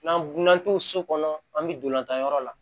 N'an burun so kɔnɔ an be dolantan yɔrɔ la